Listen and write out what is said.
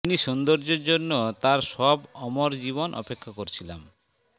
তিনি সৌন্দর্যের জন্য তার সব অমর জীবন অপেক্ষা করছিলাম